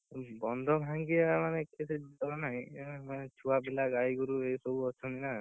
ବନ୍ଧ ଭଙ୍ଗିଆ ମାନେ କେତେ କିଛିଏତେ ବିପଦ ନାହିଁ, କିନ୍ତୁ ଛୁଆ ପିଲା ଗାଈଗୋରୁ ଏ ସବୁ ଅଛନ୍ତି ନା,